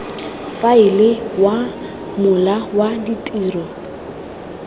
faela wa mola wa ditiro